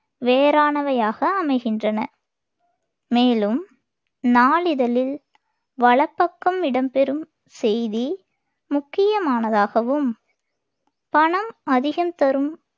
வேறானவையாக அமைகின்றன. மேலும் நாளிதழில் வலப்பக்கம் இடம்பெறும் செய்தி முக்கியமானதாகவும், பணம் அதிகம் தரும்